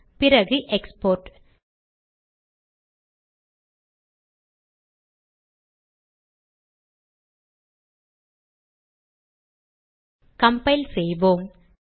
பிறகு export compile செய்வோம்